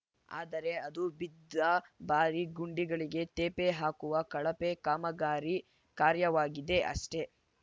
ಆದರೆ ಅದು ಬಿದ್ದ ಭಾರಿ ಗುಂಡಿಗಳಿಗೆ ತೇಪೆ ಹಾಕುವ ಕಳಪೆ ಕಾಮಗಾರಿ ಕಾರ್ಯವಾಗಿದೆ ಅಷ್ಟೆ